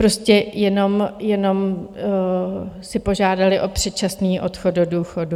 Prostě jenom si požádali o předčasný odchod do důchodu.